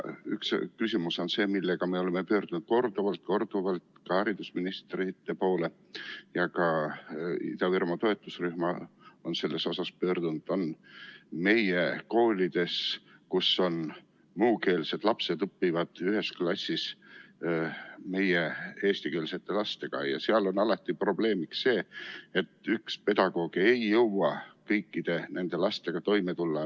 Üks küsimus on see, millega me oleme pöördunud korduvalt-korduvalt ka haridusministrite poole ja ka Ida-Virumaa toetusrühm on selles küsimuses pöördunud, nimelt, meie koolides, kus muukeelsed lapsed õpivad ühes klassis eestikeelsete lastega, on alati probleemiks, et üks pedagoog ei jõua kõikide lastega toime tulla.